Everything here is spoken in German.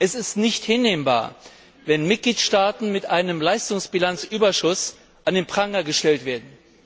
Es ist nicht hinnehmbar, wenn Mitgliedstaaten mit einem Leistungsbilanzüberschuss an den Pranger gestellt werden.